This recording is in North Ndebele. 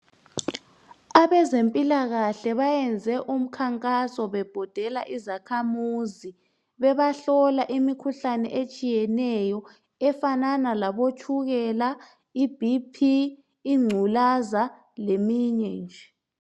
Abezempilakahle bayenze umkhankaso bebhodela izakhamuzi, bebahlola imikhuhlane etshiyeneyo efanana labotshukela, iBP, ingculaza, leminye nje